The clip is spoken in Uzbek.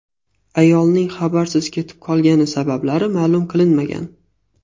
Ayolning xabarsiz ketib qolgani sabablari ma’lum qilinmagan.